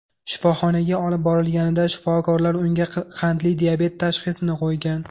Shifoxonaga olib borilganida shifokorlar unga qandli diabet tashxisini qo‘ygan.